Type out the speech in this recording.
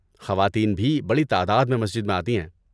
خواتین بھی بڑی تعداد میں مسجد میں آتی ہیں۔